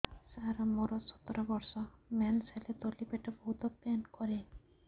ସାର ମୋର ସତର ବର୍ଷ ମେନ୍ସେସ ହେଲେ ତଳି ପେଟ ବହୁତ ପେନ୍ କରେ